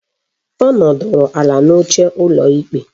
Ọ nọdụrụ ala n'oche ụlọ ikpe